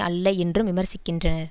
அல்ல என்றும் விமர்சிக்கின்றன